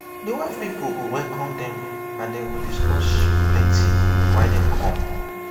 him family pipol go go knock for di wife family door